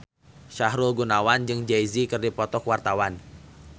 Sahrul Gunawan jeung Jay Z keur dipoto ku wartawan